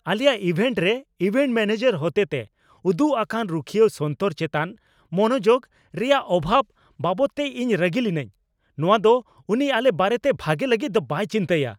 ᱟᱞᱮᱭᱟᱜ ᱤᱵᱷᱮᱱᱴ ᱨᱮ event manager ᱦᱚᱛᱮᱛᱮ ᱩᱫᱩᱜ ᱟᱠᱟᱱ ᱨᱩᱠᱷᱤᱭᱟᱹᱣ ᱥᱚᱱᱛᱚᱨ ᱪᱮᱛᱟᱱ ᱢᱚᱱᱚᱡᱳᱜᱽ ᱨᱮᱭᱟᱜ ᱚᱵᱷᱟᱵᱽ ᱵᱟᱵᱚᱫᱛᱮ ᱤᱧ ᱨᱟᱹᱜᱤ ᱞᱤᱱᱟᱹᱧ ᱾ ᱱᱚᱶᱟ ᱫᱚ ᱩᱱᱤ ᱟᱞᱮ ᱵᱟᱨᱮᱛᱮ ᱵᱷᱟᱜᱮ ᱞᱟᱹᱜᱤᱫ ᱫᱚ ᱵᱟᱭ ᱪᱤᱱᱛᱟᱹᱭᱼᱟ ᱾